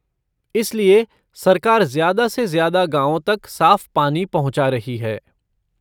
इसलिए सरकार ज्यादा से ज्यादा गाँवों तक साफ़ पानी पहुँचा रही है।